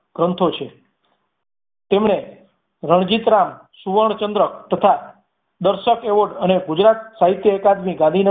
ગ્રંથો છે. તેમને રણજિત રામ સુવર્ણચંદ્રક તથા દર્શકો award અને ગુજરાત સાહિત્ય કારની ગાદી છે.